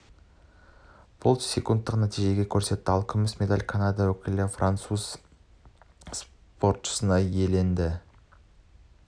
болт секундтық нәтиже көрсетті ал күміс медальді канада өкілі қанжығасына байласа қола жүлдені француз спортшысы иеленді